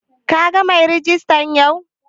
Ka gan mai rejista yau?